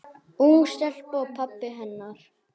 Ung stelpa og pabbi hennar.